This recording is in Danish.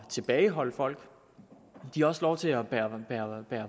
tilbageholde folk og de har også lov til at bære